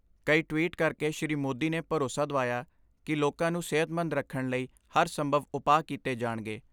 ਕਈ ਟਵੀਟ ਕਰਕੇ ਸ੍ਰੀ ਮੋਦੀ ਨੇ ਭਰੋਸਾ ਦਵਾਇਆ ਕਿ ਲੋਕਾਂ ਨੂੰ ਸਿਹਤਮੰਦ ਰੱਖਣ ਲਈ ਹਰ ਸੰਭਵ ਉਪਾਅ ਕੀਤੇ ਜਾਣਗੇ।